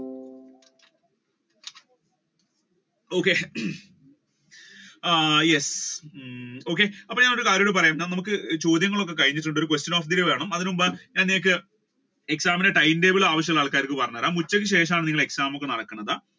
okay ah yes അപ്പൊ ഞാൻ ഒരു കാര്യവും കൂടി പറയട്ടെ നമ്മുക്ക് ചോദ്യങ്ങൾ ഒക്കെ കഴിഞ്ഞിട്ടുണ്ട് ഒരു question of the വേണം അതിന് മുൻപ് exam time table ആവശ്യമുള്ള ആൾക്കാർക്ക് പറഞ്ഞു തരാം ഉച്ചക്ക് ശേഷമാണ് exam ഒക്കെ നടക്കുന്നത്.